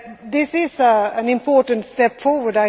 This is an important step forward.